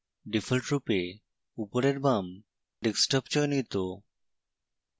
ডিফল্টরূপে উপরের by desktop চয়নিত